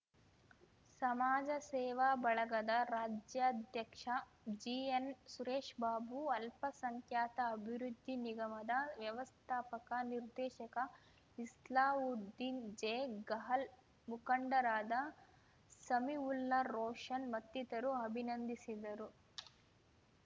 ಸಮಾಜ ಸೇವಾ ಬಳಗದ ರಾಜ್ಯಾಧ್ಯಕ್ಷ ಜಿಎನ್ ಸುರೇಶ್ ಬಾಬು ಅಲ್ಪಸಂಖ್ಯಾತ ಅಭಿವೃದ್ಧಿ ನಿಗಮದ ವ್ಯವಸ್ಥಾಪಕ ನಿರ್ದೇಶಕ ಇಸ್ಲಾವುದ್ದೀನ್ ಜೆ ಗಹಲ್ ಮುಖಂಡರಾದ ಸಮೀವುಲ್ಲಾ ರೋಷನ್ ಮತ್ತಿತರು ಅಭಿನಂದಿಸಿದರು